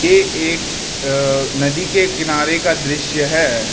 ये एक अह नदी के किनारे का दृश्य है।